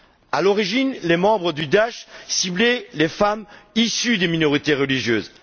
À l'origine, les membres de Daïch ciblaient les femmes issues des minorités religieuses.